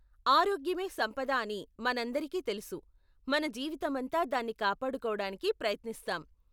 ఆరోగ్యమే సంపద అని మనందరికీ తెలుసు, మన జీవితమంతా దాన్ని కాపాడుకోడానికే ప్రయత్నిస్తాం.